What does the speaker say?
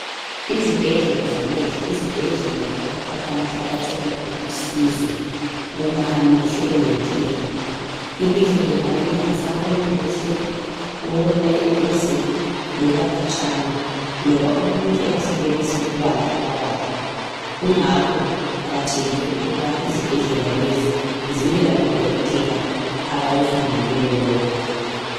Izibhedlela zamehlo yizibhedlela lapho abantu abathola khona usizo uma amehlo elenkinga. Ilihlo lingabe lingasaboni kuhle, ukubonela eduze loba khatshana loba umuntu engasenelisi ukubala amabala kungakho kuqakathekile ukuba izibhedlela lezi zibe labodokotela abakufundeleyo lokhu.